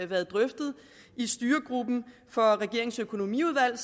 været drøftet i styregruppen for regeringens økonomiudvalg